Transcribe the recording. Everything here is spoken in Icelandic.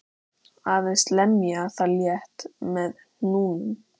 Aðeins lemja það létt með hnúunum.